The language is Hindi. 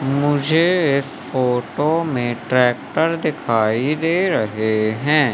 मुझे इस फोटो में ट्रैक्टर दिखाई दे रहे हैं।